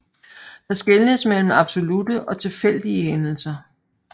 Der skelnes mellem absolutte og tilfældige hændelser